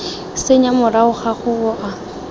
senya morago ga go wa